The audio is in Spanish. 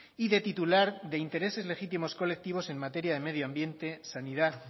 y de titular de intereses legítimos colectivos en materia de medio ambiente sanidad